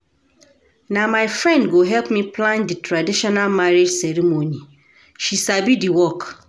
Na my friend go help me plan di traditional marriage ceremony, she sabi di work.